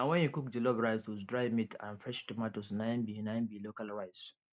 na wen you cook jollof rice with dry meat and fresh tomatoes na im be na im be local rice